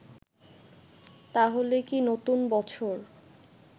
তাহলে নাকি নতুন বছর